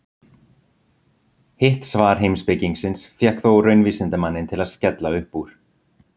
Hitt svar heimspekingsins fékk þó raunvísindamanninn til að skella upp úr.